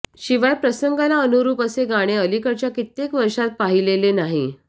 शिवाय प्रसंगाला अनुरूप असे गाणे अलिकडच्या कित्येक वर्षात पाहीलेले नाही